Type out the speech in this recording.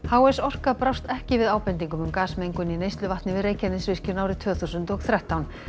h s Orka brást ekki við ábendingum starfsmanns um gasmengun í neysluvatni við Reykjanesvirkjun árið tvö þúsund og þrettán